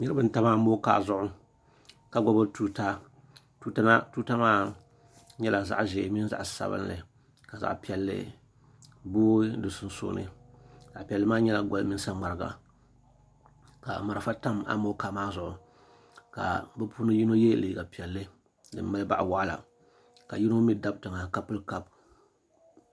shab n tam amokaa zuɣu ka gbubi tuura tuuta maa nyɛla zaɣ ʒiɛ mini zaɣ sabinli ka zaɣ piɛlli booi di sunsuuni zaɣ piɛlli maa nyɛla goli mini saŋmariga ka marafa tam amokaa maa zuɣu ka bi puuni yino yɛ liiga piɛlli din mali boɣa waɣala ka yino mii dabi tiŋa ka pili kaap